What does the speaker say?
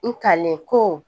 N talen ko